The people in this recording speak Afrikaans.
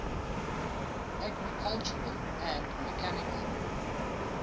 agricultural and mechanical